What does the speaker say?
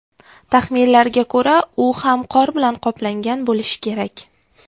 Taxminlarga ko‘ra, u ham qor bilan qoplangan bo‘lishi kerak.